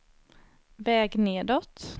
väg nedåt